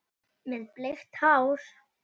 Með bleikt hár.